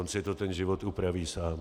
On si to ten život upraví sám.